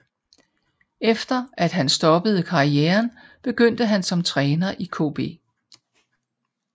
Efter at han stoppede karrieren begyndte han som træner i KB